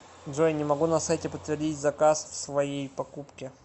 джой не могу на сайте подтвердить заказ в своей покупки